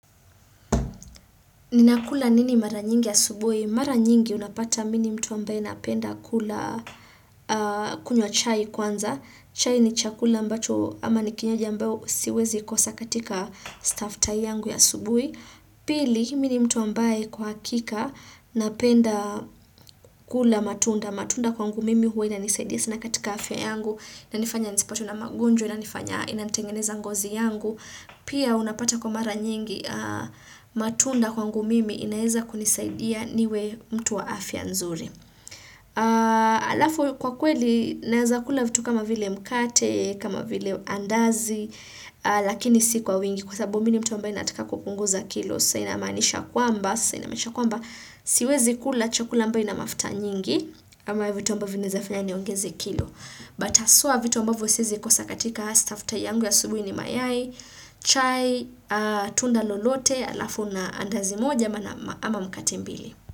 Ninakula nini mara nyingi asubuhi? Mara nyingi unapata mini mtu ambaye napenda kula kunywa chai kwanza. Chai ni chakula ambacho ama ni kinywaji ambayo siwezi kosa katika stafttai yangu ya asubuhi. Pili, hi mi ni mtu ambaye kwa hakika napenda kula matunda. Matunda kwangu mimi huwa inanisaidia sana katika afya yangu na inanifanya nisipatwe na magonjwa inanifanya inani tengeneza ngozi yangu. Pia unapata kwa mara nyingi matunda kwangu mimi inaeza kunisaidia niwe mtu wa afya nzuri. Alafu kwa kweli naweza kula vitu kama vile mkate, kama vile andazi Lakini si kwa wingi kwa sababu mini mtu ambaye nataka kupunguza kilos sasa inamaanisha kwamba, sasa inamaanisha kwamba siwezi kula chakula ambaye ina mafuta nyingi ama vitu ambavo vina fanya niongeze kilos But haswa vitu ambavo siezi kosa katika hastafta yangu ya asubuhi ni mayai chai, tunda lolote, alafu na andazi moja ama mkate mbili.